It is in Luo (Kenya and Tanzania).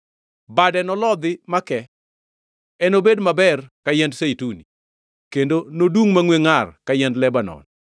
bade nolodhi makee. Enobed maber ka yiend zeituni, kendo nodungʼ mangʼwe ngʼar ka yiend Lebanon.